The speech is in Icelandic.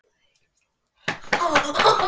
Ég gaf þeim stóra og skrautlega bók með myndum frá